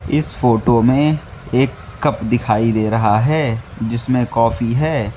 इस फोटो में एक कप दिखाई दे रहा है जिसमें कॉफी है।